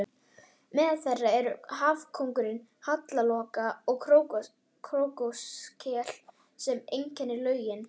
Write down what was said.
Meðal þeirra eru hafkóngur, hallloka og krókskel sem einkennir lögin.